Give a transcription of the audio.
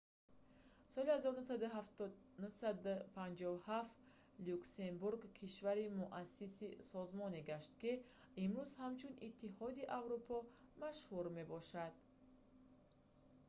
соли 1957 люксембург кишвари муассиси созмоне гашт ки имрӯз ҳамчун иттиҳоди аврупо машҳур мебошад